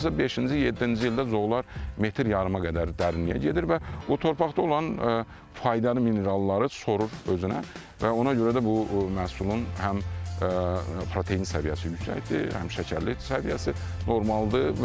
Hardasa beşinci-yeddinci ildə zoğlar metr yarıma qədər dərinliyə gedir və o torpaqda olan faydalı mineralları sorur özünə və ona görə də bu məhsulun həm protein səviyyəsi yüksəkdir, həm şəkərli səviyyəsi normaldır.